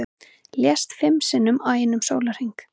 Lést fimm sinnum á einum sólarhring